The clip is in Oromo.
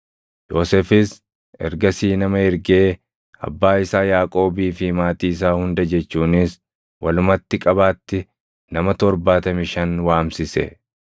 Yoosefis ergasii nama ergee abbaa isaa Yaaqoobii fi maatii isaa hunda jechuunis walumatti qabaatti nama 75 waamsise.